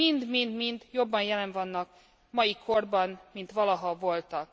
mind mind jobban jelen vannak a mai korban, mint valaha voltak.